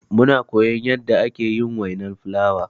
Muna koyan yanda ake yin wainar fulawa.